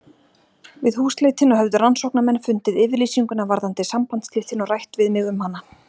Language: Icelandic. Við húsleitina höfðu rannsóknarmenn fundið yfirlýsinguna varðandi sambandsslitin og rætt við mig um hana.